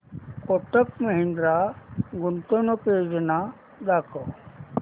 कोटक महिंद्रा गुंतवणूक योजना दाखव